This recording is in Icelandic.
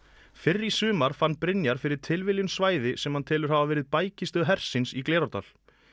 fyrr í sumar fann Brynjar fyrir tilviljun svæði sem hann telur hafa verið bækistöð hersins í Glerárdal